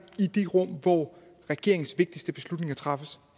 i de rum hvor regeringens vigtigste beslutninger træffes